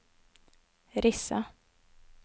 Rissa